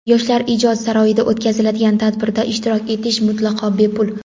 Yoshlar ijod saroyida o‘tkaziladigan tadbirda ishtirok etish mutlaqo bepul.